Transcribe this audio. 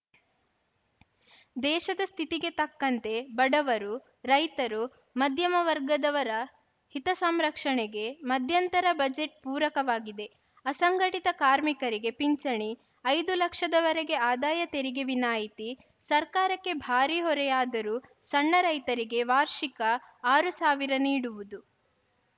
ದೇಶದ ಸ್ಥಿತಿಗೆ ತಕ್ಕಂತೆ ಬಡವರು ರೈತರು ಮಧ್ಯಮ ವರ್ಗದವರ ಹಿತಸಂರಕ್ಷಣೆಗೆ ಮಧ್ಯಂತರ ಬಜೆಟ್‌ ಪೂರಕವಾಗಿದೆ ಅಸಂಘಟಿತ ಕಾರ್ಮಿಕರಿಗೆ ಪಿಂಚಣಿ ಐದು ಲಕ್ಷವರೆಗೆ ಆದಾಯ ತೆರಿಗೆ ವಿನಾಯಿತಿ ಸರ್ಕಾರಕ್ಕೆ ಭಾರಿ ಹೊರೆಯಾದರೂ ಸಣ್ಣ ರೈತರಿಗೆ ವಾರ್ಷಿಕ ಆರು ಸಾವಿರ ನೀಡುವುದು